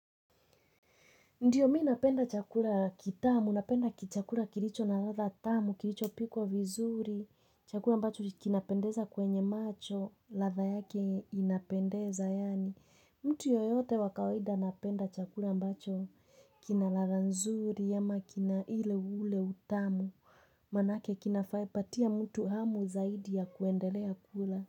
Ndiyo mimi napenda chakula kitamu, napenda chakula kilicho na ladha tamu, kilicho pikwa vizuri, chakula ambacho kinapendeza kwenye macho, ladha yake inapendeza yaani. Mtu yoyote wakawaida napenda chakula ambacho kina ladha nzuri ya makina ile ule utamu, maanake kina faipatia mtu hamu zaidi ya kuendelea kula.